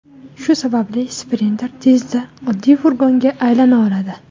Shu sababli Sprinter tezda oddiy furgonga aylana oladi.